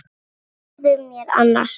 Segðu mér annars.